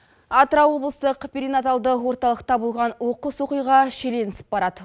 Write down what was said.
атырау облыстық перенаталды орталықта болған оқыс оқиға шиеленісіп барады